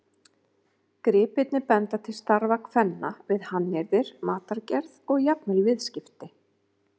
Gripirnir benda til starfa kvenna við hannyrðir, matargerð og jafnvel viðskipti.